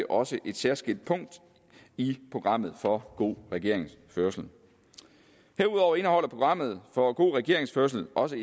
også et særskilt punkt i programmet for god regeringsførelse herudover indeholder programmet for god regeringsførelse også